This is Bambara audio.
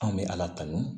Anw bɛ ala tanu